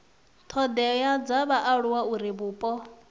thodea dza vhaaluwa uri vhupo